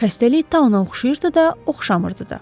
Xəstəlik tauna oxşayırdı da, oxşamırdı da.